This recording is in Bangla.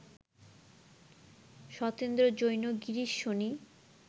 সতেন্দ্র জৈন, গিরীশ সোনি